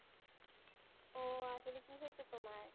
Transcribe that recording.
ও আসলে কি হয়েছে তোমার?